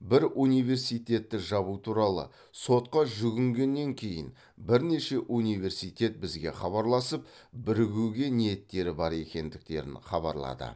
бір университетті жабу туралы сотқа жүгінгеннен кейін бірнеше университет бізге хабарласып бірігуге ниеттері бар екендіктерін хабарлады